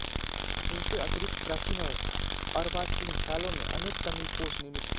इनसे अतिरिक्त प्राचीन और अर्वाचीन कालों में अनेल तमिल कोश निर्मित हुए